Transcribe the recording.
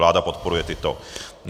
Vláda podporuje tyto.